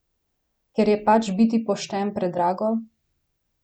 Ker je pač biti pošten predrago?